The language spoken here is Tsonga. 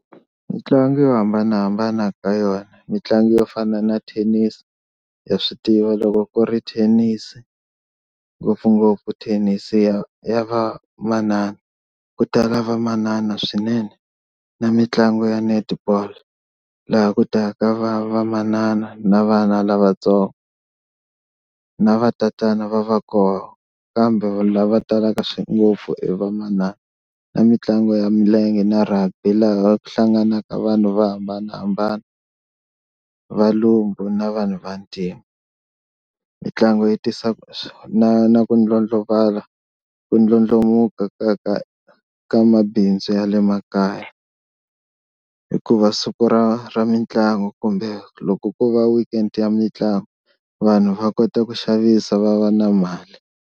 Mitlangu yo hambanahambana ka yona mitlangu yo fana na thenisi ha swi tiva loko ku ri Thenisi ngopfungopfu thenisi ya ya vamanana ku tala vamanana swinene, na mitlangu ya Netball laha ku ta ka va vamanana na vana lavatsongo na vatatana va va kona kambe lava talaka ngopfu i vamanana. Na mitlangu ya milenge na Rugby laha ku hlanganaka vanhu vo hambanahambana valungu na vanhu va ntima. Mitlangu yi tisa na na ku ku ndlandlamuka ka ka ka mabindzu ya le makaya, hikuva siku ra ra mitlangu kumbe loko ku va weekend ya mitlangu vanhu va kota ku xavisa va va na mali.